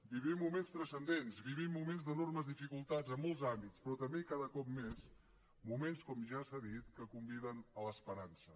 vivim moments transcendents vivim moments d’enormes dificultats en molts àmbits però també i cada cop més moments com ja s’ha dit que conviden a l’esperança